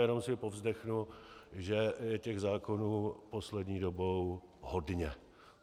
Jenom si povzdechnu, že je těch zákonů poslední dobou hodně.